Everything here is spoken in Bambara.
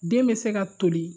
Den bɛ se ka toli